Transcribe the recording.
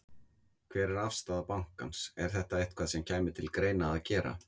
Hver er afstaða bankans, er þetta eitthvað sem kæmi til greina að gera?